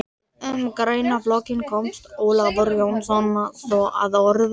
Um greinaflokkinn komst Ólafur Jónsson svo að orði